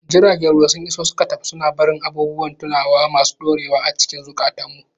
Jiragen ruwa sun iso suka tafi, suna barin abubuwan tunawa masu ɗorewa a cikin zukatanmu.